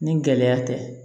Ni gɛlɛya tɛ